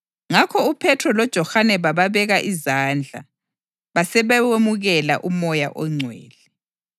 Ngakho uPhethro loJohane bababeka izandla, basebewemukela uMoya oNgcwele.